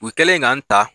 U kɛlen k'an ta